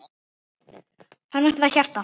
Hana vantaði hjarta.